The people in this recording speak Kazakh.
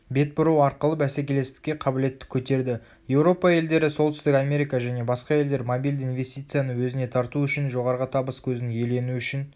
бетбұру арқылы бәсекелестікке қабілетті көтерді еуропа елдері солтүстік америка және басқа елдер мобильді инвестицияны өзіне тарту үшін жоғарғы табыс көзін иелену үшін